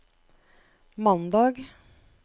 mandag